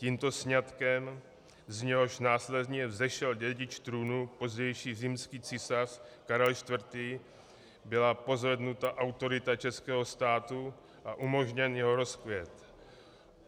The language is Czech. Tímto sňatkem, z něhož následně vzešel dědic trůnu, pozdější římský císař Karel IV., byla pozvednuta autorita českého státu a umožněn jeho rozkvět.